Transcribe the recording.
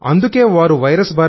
అందుకే వారు వైరస్